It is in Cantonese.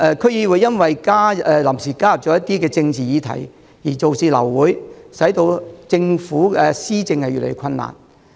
區議會因為臨時加入一些政治議題而流會，政府施政越來越困難。